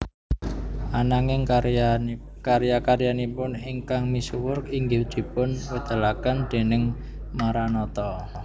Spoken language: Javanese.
Ananging karya karyanipun ingkang misuwur inggih dipun wedalaken déning Maranatha